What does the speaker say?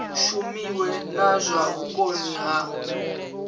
shumiwe na zwa vhukoni ha